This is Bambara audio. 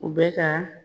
U bɛ ka